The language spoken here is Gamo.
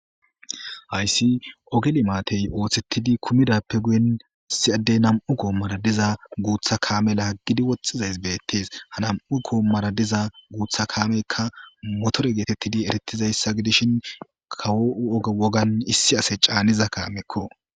Hayssi ogeli maatey ooththettidi kumidappe guyen issiyaddey nam'u koommara diza guutha kaame laaggidi woxxizays beettees ha nam'u koommara diza guutha kaameykka motore geetettidi erettizayssa gidishin kawo' oga wogan issi ase caaniza kaamekko.